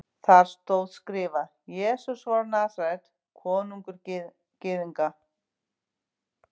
Þar stóð skrifað: Jesús frá Nasaret, konungur Gyðinga.